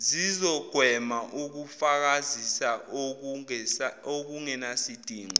zizogwema ukufakazisa okungenasidingo